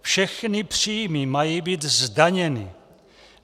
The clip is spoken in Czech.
Všechny příjmy mají být zdaněny.